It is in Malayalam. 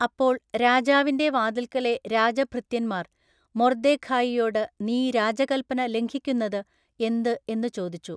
അപ്പോൾ രാജാവിന്റെ വാതിൽക്കലെ രാജഭൃത്യന്മാർ മൊർദ്ദെഖായിയോടു നീ രാജകല്പന ലംഘിക്കുന്നതു എന്തു എന്നു ചോദിച്ചു.